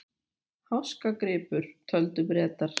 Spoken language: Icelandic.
Háskagripur, töldu Bretar.